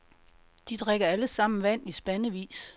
De drikker alle sammen vand i spandevis.